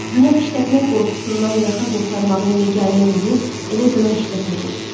Günah işlətmək qorxusundan yaxa qurtarmağın yeganə yolu elə günah işlətməkdir.